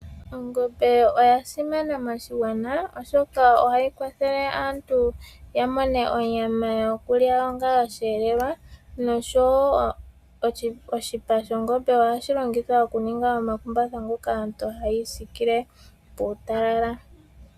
Ongombe oya simana moshigwana, oshoka ohayi kwathele aantu ya mone onyama yokulya onga osheelelwa noshowo oshipa shongombe ohashi longithwa okuninga omakumbatha ngoka aantu haya isikile puutalala.